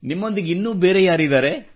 ನಿಮ್ಮೊಂದಿಗೆ ಇನ್ನೂ ಬೇರೆ ಯಾರಿದ್ದಾರೆ